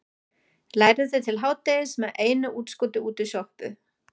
Lærði til hádegis með einu útskoti út í sjoppu.